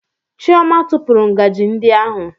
Chioma tụpụrụ ngaji ndị ahụ